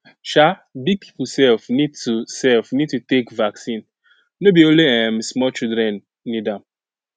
um big people sef need to sef need to take vaccine no be only um small children need am